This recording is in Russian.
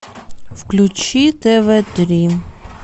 включи тв три